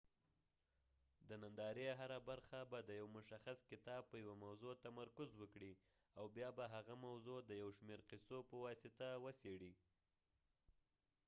د نندارې هره برخه به د یو مشخص کتاب په یوه موضوع تمرکز وکړي او بیا به هغه موضوع د یو شمیر قصو په واسطه وڅیړي